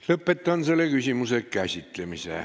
Lõpetan selle küsimuse käsitlemise.